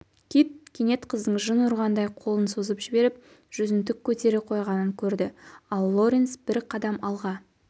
кит кенет қыздың жын ұрғандай қолын созып жіберіп жүзін тік көтере қойғанын көрді ал лоренс бір қадам алға